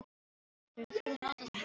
Þurfið þið að nota þetta? spyr hann.